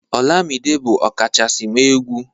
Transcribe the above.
olamide bu ọkachasi m egwu